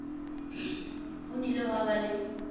ho nnile ha ba le